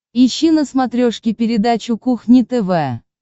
ищи на смотрешке передачу кухня тв